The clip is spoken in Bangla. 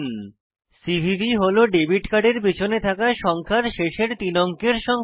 সিভিভি হল ডেবিট কার্ডের পেছনে থাকা সংখ্যার শেষের তিনটি অঙ্কের সংখ্যা